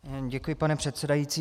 Děkuji, pane předsedající.